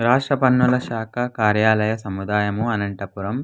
రాష్ట్ర పన్నుల శాఖ కార్యాలయ సముదాయము అనంతపురం --